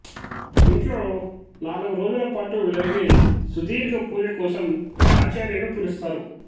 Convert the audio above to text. ఇంట్లో నాలుగు రోజుల పాటు జరిగే సుదీర్ఘ పూజ కోసం ఆచార్యను పిలుస్తారు